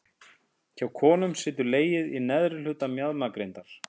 Hjá konum situr legið í neðri hluta mjaðmagrindar.